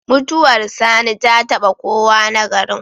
Mutuwar sani ta taba kowa na garin